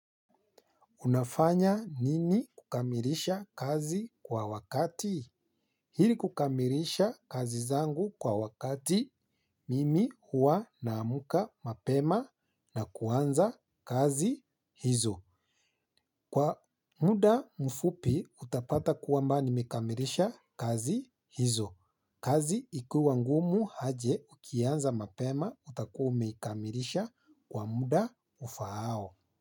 Unafanya nini kukamilisha kazi kwa wakati ili kukamilisha kazi zangu kwa wakati mimi hua naamka mapema na kuanza kazi hizo. Kwa muda mfupi utapata kwamba nimekamilisha kazi hizo. Kazi ikiwa ngumu aje ukiianza mapema utakua umeikamilisha kwa muda ufaao.